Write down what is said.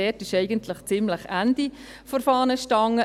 dort ist eigentlich ziemlich das Ende der Fahnenstange.